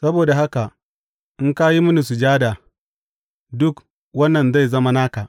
Saboda haka in ka yi mini sujada, dukan wannan zai zama naka.